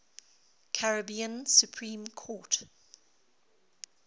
caribbean supreme court